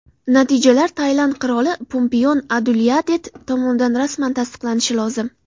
Natijalar Tailand qiroli Pumipon Adulyadet tomonidan rasman tasdiqlanishi lozim.